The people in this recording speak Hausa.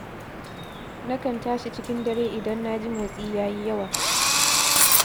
Na kan tashi cikin dare idan na ji motsi ya yi yawa.